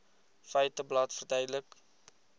feiteblad verduidelik